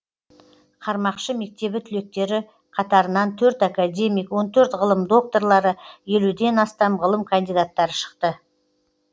қармақшы мектебі түлектері қатарынан төрт академик он төрт ғылым докторлары елуден астам ғылым кандидаттары шықты